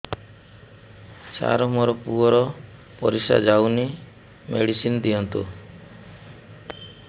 ସାର ମୋର ପୁଅର ପରିସ୍ରା ଯାଉନି ମେଡିସିନ ଦିଅନ୍ତୁ